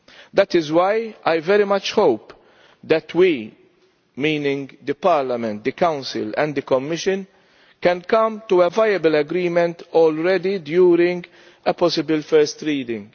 That is why I very much hope that we meaning Parliament, the Council and the Commission can come to a viable agreement during a possible first reading.